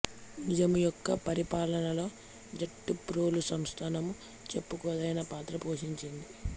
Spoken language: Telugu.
నిజాము యొక్క పరిపాలనలో జటప్రోలు సంస్థానము చెప్పుకోదగిన పాత్ర పోషించింది